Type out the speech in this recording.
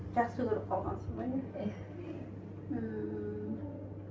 жақсы көріп қалғансың ғой иә иә ммм